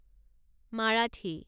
Marathi